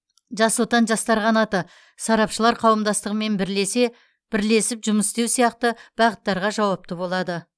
жас отан жастар қанаты сарапшылар қауымдастығымен бірлесе бірлесіп жұмыс істеу сияқты бағыттарға жауапты болады